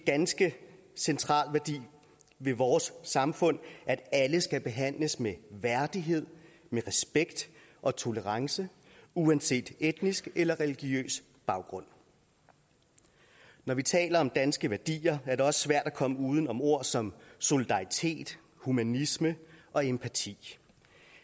ganske central værdi ved vores samfund at alle skal behandles med værdighed med respekt og tolerance uanset etnisk eller religiøs baggrund når vi taler om danske værdier er det også svært at komme uden om ord som solidaritet humanisme og empati